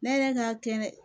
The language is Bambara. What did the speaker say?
Ne yɛrɛ ka kɛ